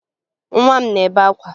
Nwa m na-ebe akwa